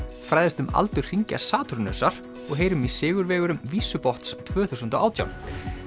fræðumst um aldur hringja Satúrnusar og heyrum í sigurvegurum tvö þúsund og átján